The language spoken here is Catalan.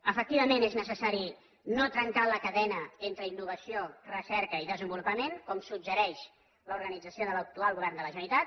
efectivament és necessari no trencar la cadena entre innovació recerca i desenvolupament com suggereix l’organització de l’actual govern de la generalitat